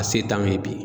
A se t'an ye bi